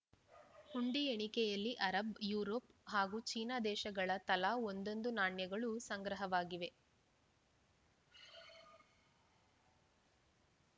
ಹುಂಡಿ ಎಣಿಕೆಯಲ್ಲಿ Arab Europe ಹಾಗೂ ಚೀನಾ ದೇಶಗಳ ತಲಾ ಒಂದೊಂದು ನಾಣ್ಯಗಳೂ ಸಂಗ್ರಹವಾಗಿವೆ